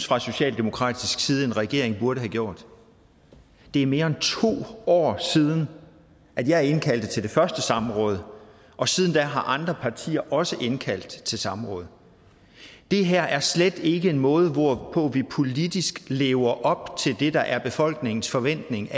fra socialdemokratisk side synes en regeringen burde have gjort det er mere end to år siden at jeg indkaldte til det første samråd og siden da har andre partier også indkaldt til samråd det her er slet ikke en måde hvorpå vi politisk lever op til det der er befolkningens forventning